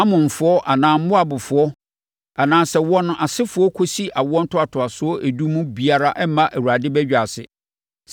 Amonfoɔ anaa Moabfoɔ anaa sɛ wɔn asefoɔ kɔsi awoɔ ntoatoasoɔ edu no mu biara mmma Awurade badwa ase.